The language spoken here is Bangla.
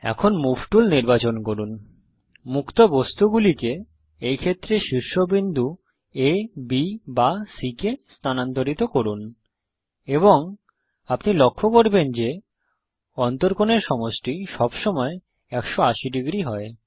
এখন মুভ টুল নির্বাচন করুন মুক্ত বস্তুগুলিকে এই ক্ষেত্রে শীর্ষবিন্দু আ B বা C কে স্থানান্তরিত করুন এবং আপনি লক্ষ্য করবেন যে অন্তকোণ এর সমষ্টি সবসময় ১৮০ ডিগ্রী হয়